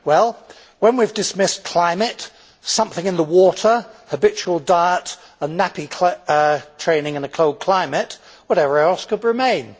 Well, when we have dismissed climate, something in the water, habitual diet and nappy training in a cold climate, whatever else could remain?